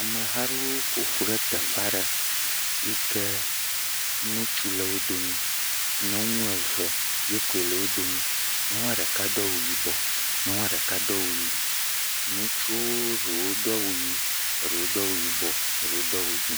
Ameha aɖewo ƒo ƒu ɖe teƒe aɖe. yi ke nutsu le wo domi, nyɔnu eve yi koe le wo domi. Nyɔnua ɖeka do awu yibɔ, nyɔnua ɖeka do awu yii. Nutsuwo ɖewo do awu yii, erewo do awu yii, erewo do awu dzɛ̃.